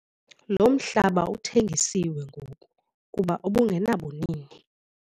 Lo mhlaba uthengisiwe ngoku kuba ubungenabunini.